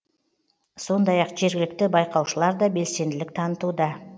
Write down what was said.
сондай ақ жергілікті байқаушылар да белсенділік танытуда